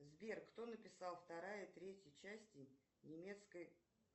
сбер кто написал вторая третья части немецкой